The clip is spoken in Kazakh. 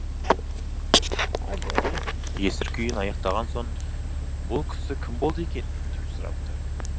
есір күйін аяқтаған соң бұл кісі кім болды екен деп сұрапты